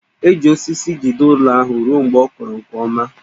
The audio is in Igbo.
E ji osisi jide ụlọ ahụ ruo mgbe ọ kọrọ nke ọma